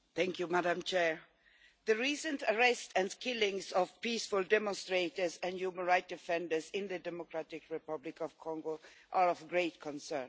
Madam President, the recent arrests and killings of peaceful demonstrators and human rights defenders in the Democratic Republic of Congo are of great concern.